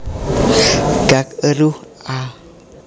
Gak eruh a